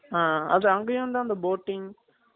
அஹ் அது அங்கையும் தான் அந்த boating